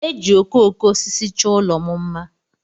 Eji okooko osisi chọọ ụlọ m mma.